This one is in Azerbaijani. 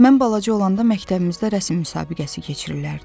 Mən balaca olanda məktəbimizdə rəsm müsabiqəsi keçirirdilər.